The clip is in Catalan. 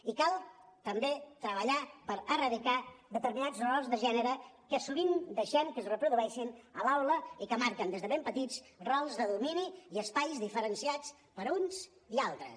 i cal també treballar per erradicar determinats rols de gènere que sovint deixem que es reprodueixin a l’aula i que marquen des de ben petits rols de domini i espais diferenciats per a uns i altres